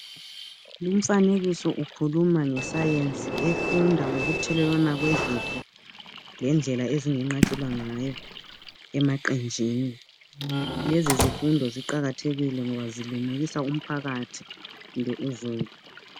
Lumfanekiso ukhuluma ngesayensi efunda ngokuthelelwana kwezifo lendlela ezingenqatshelwa ngayo emaqenjini. Lezi zifundo ziqakathekile ngoba zilungisa umphakathi kumbe uzulu.